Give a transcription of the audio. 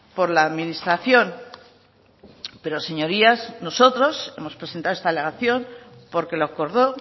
por la administración pero señorías nosotros hemos presentado esta alegación porque lo acordó